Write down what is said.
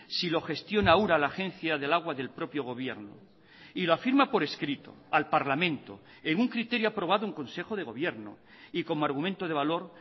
si lo gestiona ura la agencia del agua del propio gobierno y lo afirma por escrito al parlamento en un criterio aprobado en consejo de gobierno y como argumento de valor